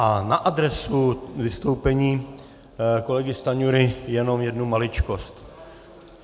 A na adresu vystoupení kolegy Stanjury jenom jednu maličkost.